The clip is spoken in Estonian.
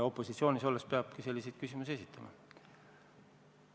Opositsioonis olles peabki selliseid küsimusi esitama.